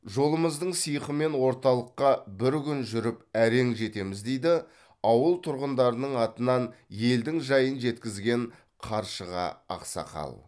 жолымыздың сиқымен орталыққа бір күн жүріп әрең жетеміз дейді ауыл тұрғындарының атынан елдің жайын жеткізген қаршыға ақсақал